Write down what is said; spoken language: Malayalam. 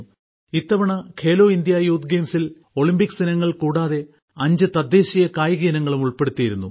ഇത്തവണ ഖേലോ ഇന്ത്യ യൂത്ത് ഗെയിംസിൽ ഒളിമ്പിക്സ് ഇനങ്ങൾ കൂടാതെ അഞ്ചു തദ്ദേശീയ കായിക ഇനങ്ങളും ഉൾപ്പെടുത്തിയിരുന്നു